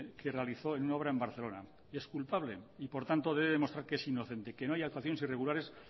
que realizó en una obra en barcelona es culpable y por tanto debe de demostrar que es inocente que no hay actuaciones irregulares